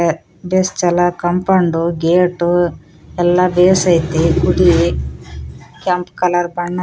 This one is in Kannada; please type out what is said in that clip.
ಕಾಪೌಂಡ್‌ ಗೇಟು ಎಲ್ಲಾ ಬೆಸೈತಿ ಗುಡಿ ಕೆಂಪು ಕಲರ್‌ ಬಣ್ಣ .